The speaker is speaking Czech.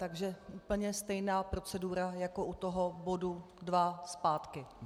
Takže úplně stejná procedura jako u toho bodu dva zpátky.